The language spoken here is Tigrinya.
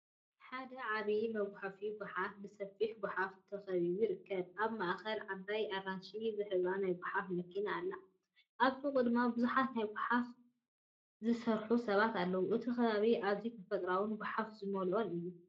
ሓደ ዓቢ መጉሓፊ ጎሓፍ ብሰፊሕ ጎሓፍ ተኸቢቡ ይርከብ። ኣብ ማእከል ዓባይ ኣራንሺ ዝሕብራ ናይ ጎሓፍ መኪና ኣላ፡ ኣብ ጥቓኡ ድማ ብዙሓት ኣብ መጉሓፊ ጎሓፍ ዝሰርሑ ሰባት ኣለዉ። እቲ ከባቢ ኣዝዩ ተፈጥሮኣዊን ጎሓፍ ዝመልኦን እዩ።